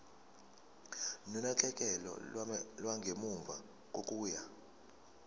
nonakekelo lwangemuva kokuya